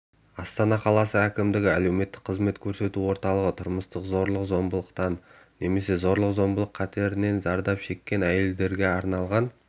астана қаласы әкімдігінің әлеуметтік қызмет көрсету орталығы тұрмыстық зорлық-зомбылықтан немесе зорлық-зомбылық қатерінен зардап шеккен әйелдерге арналған